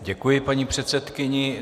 Děkuji paní předsedkyni.